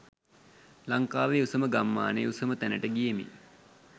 ලංකාවේ උසම ගම්මානයේ උසම තැනට ගියෙමි.